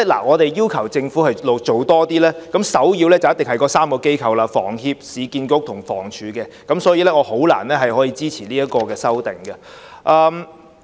我們要求政府做多些，首要一定涉及房協、市建局及房屋署這3間機構，所以我難以支持這項修正案。